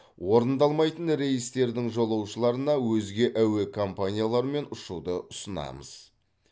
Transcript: орындалмайтын рейстердің жолаушыларына өзге әуе компаниялармен ұшуды ұсынамыз